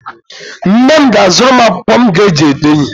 Nne m ga-azụrụ m akwụkwọ m ga-eji ede ihe.